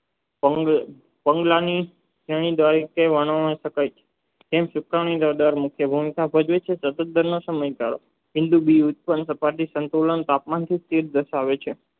પગલાંની સતાબ્દી સંતુલન તાપમાનથી જ દર્શવે છે